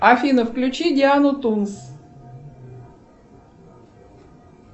афина включи диану тумс